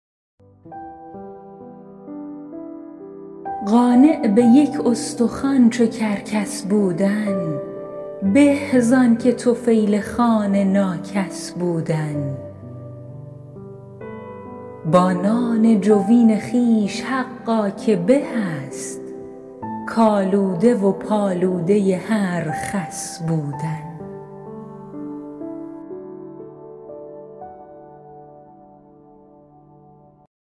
قانع به یک استخوان چو کرکس بودن به زآنکه طفیل خوان ناکس بودن با نان جوین خویش حقا که به است کآلوده و پالوده هر خس بودن